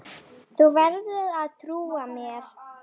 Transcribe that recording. Þú verður að trúa mér.